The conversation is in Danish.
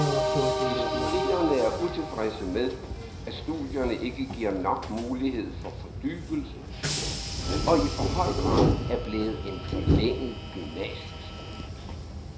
De studerende er utilfredse med, at studierne ikke giver nok mulighed for fordybelse og i for høj grad er blevet en forlænget gymnasieskole.